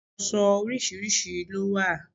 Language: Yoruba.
Ìyọ̀ṣó oríṣiríṣi ló wà.